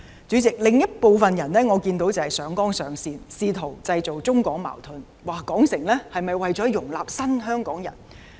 主席，我看到另一部分人上綱上線，試圖製造中港矛盾，說填海是否為了容納"新香港人"。